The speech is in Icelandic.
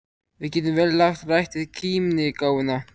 Við getum vel lagt rækt við kímnigáfuna.